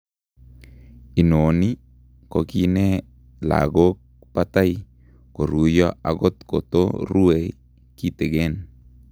Inoni kokiine lagok batai koruyo akot koto rue kiten